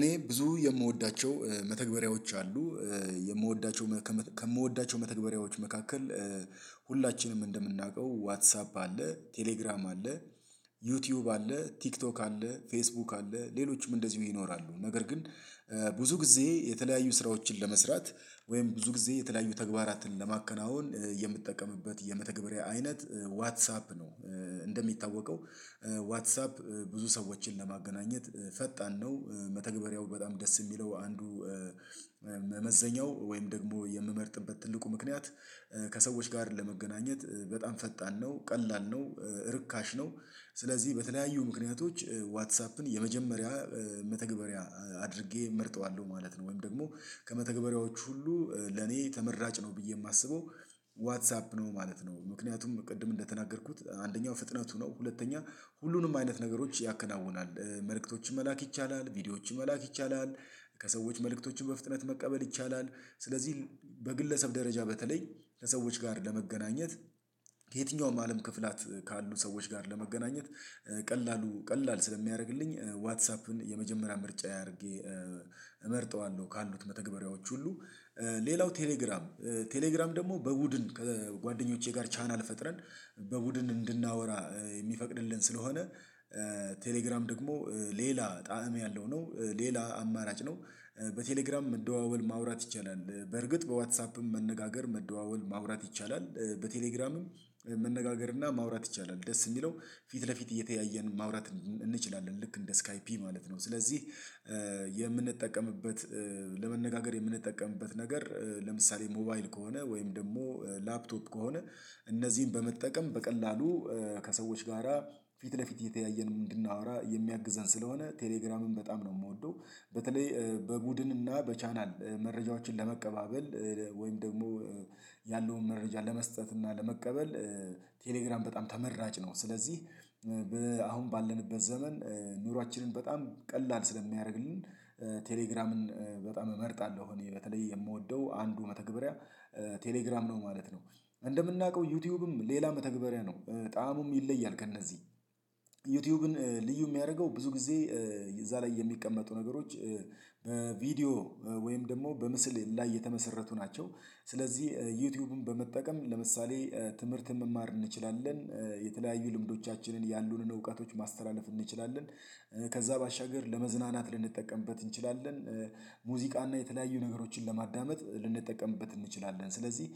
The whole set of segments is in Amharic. እኔ ብዙ የምወዳቸው መተግበሪያዎች አሉ። የምወዳቸው ከምወዳቸው መተግበሪያዎች መካከል። ሁላችንም እንደምናውቀው ዋትሳፕ አለ ቴሌግራም አለ ዩቲዩብ አለ ቲክቶክ አለ ፌስቡክ አለ ሌሎችም እንደዚሁ ይኖራሉ። ነገር ግን። ብዙ ጊዜ የተለያዩ ስራዎችን ለመስራት ወይም ብዙ ጊዜ የተለያዩ ተግባራትን ለማከናወን የምትጠቀምበት የመተግበሪያ አይነት ዋትሳፕ ነው። እንደሚታወቀው ዋትሳፕ ብዙ ሰዎችን ለማገናኘት ፈጣን ነው። መተግበሪያው በጣም ደስ የሚለው አንዱ። መዘኛው ወይም ደግሞ የምመርጥበት ትልቁ ምክንያት። ከሰዎች ጋር ለመገናኘት በጣም ፈጣን ነው ቀላል ነው። ርካሽ ነው። ስለዚህ በተለያዩ ምክንያቶች ዋትሳፕን የመጀመሪያ መተግበሪያ አድርጌ እመርጠዋለሁ ማለት ነው። ወይም ደግሞ ከመተግበሪያዎቹ ሁሉ ለኔ ተመራጭ ነው ብዬ የማስበው ዋትሳፕ ነው ማለት ነው። ምክንያቱም ቅድም እንደተናገርኩት አንደኛው ፍጥነቱ ነው። ሁለተኛ ሁሉንም አይነት ነገሮች ያከናውናል። መልእክቶችን መላክ ይቻላል ቪዲዮዎችን መላክ ይቻላል። ከሰዎች መልእክቶችን በፍጥነት መቀበል ይቻላል። ስለዚህ በግለሰብ ደረጃ በተለይ ለሰዎች ጋር ለመገናኘት። የትኛውም አለም ክፍላት ካሉ ሰዎች ጋር ለመገናኘት ቀላሉ ቀላል ስለሚያደርግልኝ ዋትሳፕን የመጀመሪያ ምርጫ አድርጌ እመርጠዋለሁ ካሉት መተግበሪያዎች ሁሉ። ሌላው ቴሌግራም ቴሌግራም ደግሞ በቡድን ጓደኞቼ ጋር ቻናል ፈጥረን በቡድን እንድናወራ የሚፈቅድልን ስለሆነ። ቴሌግራም ደግሞ ሌላ ጣዕም ያለው ነው። ሌላ አማራጭ ነው። በቴሌግራም መደዋወል ማውራት ይቻላል በርግጥ በዋትሳፕም መነጋገር መደዋወል ማውራት ይቻላል። በቴሌግራምም መነጋገር እና ማውራት ይቻላል ደስ የሚለው ፊት ለፊት እየተያየን ማውራት እንችላለን ልክ እንደ ስካይፒ ማለት ነው። ስለዚህ የምንጠቀምበት ለመነጋገር የምንጠቀምበት ነገር ለምሳሌ ሞባይል ከሆነ ወይም ደግሞ ላፕቶፕ ከሆነ። እነዚህን በመጠቀም በቀላሉ ከሰዎች ጋራ ፊት ለፊት እየተያየን እንድናወራ የሚያግዘን ስለሆነ ቴሌግራምም በጣም ነው የምወደው። በተለይ በቡድን እና በቻናል መረጃዎችን ለመቀባበል ወይም ደግሞ ያለውን መረጃ ለመስጠት እና ለመቀበል። ቴሌግራም በጣም ተመራጭ ነው። ስለዚህ አሁን ባለንበት ዘመን ኑሯችንን በጣም ቀላል ስለሚያደርግልን። ቴለግራምን በጣም እመርጣለሁ እኔ በተለይ የምወደው አንዱ መተግበሪያ ቴሌግራም ነው ማለት ነው። እንደምናውቀው ዩቲዩብም ሌላ መተግበሪያ ነው። ጣእሙም ይለያል ከእነዚህ ዩቲዩብን ልዩ የሚያደርገው ብዙ ጊዜ እዛ ላይ የሚቀመጡ ነገሮች። በቪዲዮ ወይም ደግሞ በምስል ላይ የተመሰረቱ ናቸው። ስለዚህ ዩቲዩብን በመጠቀም ለምሳሌ ትምህርት መማር እንችላለን። የተለያዩ ልምዶቻችንን ያሉንን እውቀቶች ማስተላለፍ እንችላለን። ከዛ ባሻገር ለመዝናናት ልንጠቀምበት እንችላለን። ሙዚቃና የተለያዩ ነገሮችን ለማዳመጥ ልንጠቀምበት እንችላለን። ስለዚህ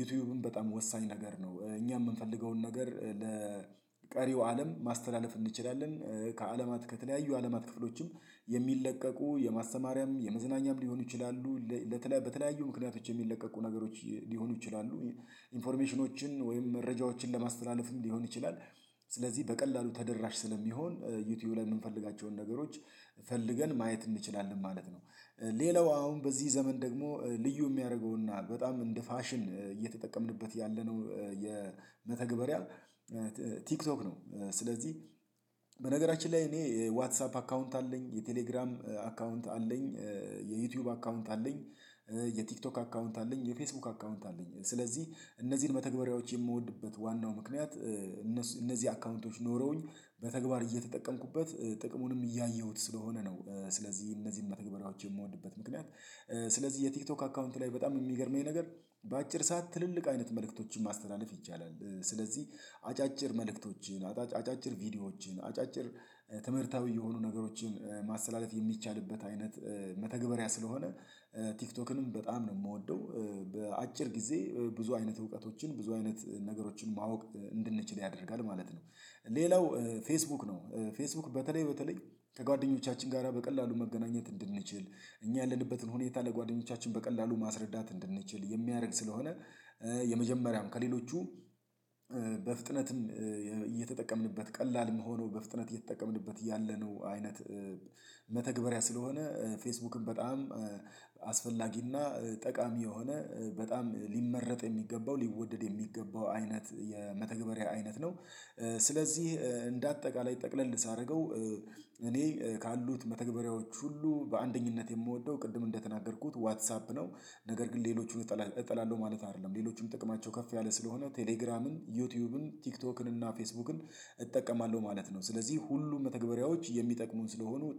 ዩቲዩብም በጣም ወሳኝ ነገር ነው። እኛ የምንፈልገውን ነገር ለቀሪው አለም ማስተላለፍ እንችላለን። ከአለማት ከተለያዩ አለማት ክፍሎችም የሚለቀቁ የማስተማሪያም የመዝናኛም ሊሆኑ ይችላሉ። በተለያዩ ምክንያትች የሚለቀቁ ነገሮች ሊሆኑ ይችላሉ። ኢንፎርሜሽኖችን ወይም መረጃዎችን ለማስተላለፍ ሊሆን ይችላል። ስለዚህ በቀላሉ ተደራሽ ስለሚሆን ዩቲዩብ ላይ የምንፈልጋቸውን ነገሮች ፈልገን ማየት እንችላለን ማለት ነው። ሌላው አሁን በዚህ ዘመን ደግሞ ልዩ የሚያደርገውና በጣም እንደ ፋሽን እየተጠቀምንበት ያለነው የመተግበሪያ ቲክቶክ ነው። ስለዚህ በነገራችን ላይ እኔ ዋትሳፕ አካውንት አለኝ የቴሌግራም አካውንት አለኝ የዩቲዩብ አካውንት አለኝ። የቲክቶክ አካውንት አለኝ የፌስቡክ አካውንት አለኝ ስለዚህ እነዚህን መተግበሪያዎች የምወድበት ዋናው ምክንያት እነዚህ አካውንቶች ኖረውኝ በተግባር እየተጠቀምኩበት ጥቅሙንም እያየሁት ስለሆነ ነው። ስለዚህ እነዚህን መተግበራዎች የምወድበት ምክንያት ስለዚህ የቲክቶክ አካውንት ላይ በጣም የሚገርመኝ ነገር በአጭር ሰዓት ትልልቅ አይነት መልእክቶችን ማስተናወፍ ይቻላል። ስለዚህ አጫጭር መልእክቶችን አጫጭር ቪዲዮዎችን አጫጭር ትምህርታዊ የሆኑ ነገሮችን ማስተላለፍ የሚቻልበት አይነት መተግበሪያ ስለሆነ። ቲክቶክንም በጣም ነው የምወደው። በአጭር ጊዜ ብዙ አይነት እውቀቶችን ብዙ አይነት ነገሮችን ማወቅ እንድንችል ያደርጋል ማለት ነው። ሌላው ፌስቡክ ነው። ፌስቡክ በተለይ በተለይ ከጓደኞቻችን ጋራ በቀላሉ መገናኘት እንድንችል እኛ ያለንበትን ሁኔታ ለጓደኞቻችን በቀላሉ ማስረዳት እንድንችል የሚያደርግ ስለሆነ። የመጀመሪያም ከሌሎቹ በፍጥነትም እየተጠቀምንበት ቀላልም መሆኖ በፍጥነት እየተጠቀምንበት ያለነው አይነት መተግበሪያ ስለሆነ። ፌስቡክም በጣም አስፈላጊና ጠቃሚ የሆነ በጣም ሊመረጥ የሚገባው ሊወደድ የሚገባው አይነት የመተግበሪያ አይነት ነው። ስለዚህ እንደ አጠቃላይ ጠቅለል ሳደርገው እኔ ካሉት መተግበሪያዎች ሁሉ በአንደኝነት የምወደው ቅድም እንደተናገርኩት ዋትሳፕ ነው። ነገር ግን ሌሎቹን እጠላለሁ ማለት አይደለም ሌሎቹም ጥቅማቸው ከፍ ያለ ስለሆነ ቴሌግራምን ዩቲዩብን ቲክቶክን እና ፌስቡክን እጠቀማለሁ ማለት ነው። ስለዚህ ሁሉም መተግባራዎች የሚጠቅሙን ስለሆኑ